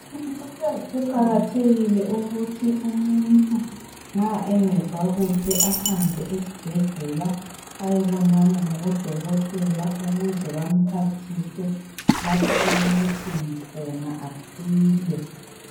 Kuqakathekile ukuthi umuntu nxa angezwa kuhle ahambe esibhedlela ayebonana labodokotela ukuze bamphathise lapho okubuhlungu khona asile.